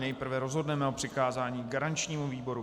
Nejprve rozhodneme o přikázání garančnímu výboru.